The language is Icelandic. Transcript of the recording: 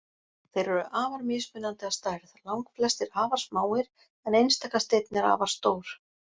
Þeir eru afar mismunandi að stærð, langflestir afar smáir en einstaka steinn er afar stór.